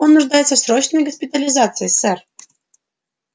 он нуждается в срочной госпитализации сэр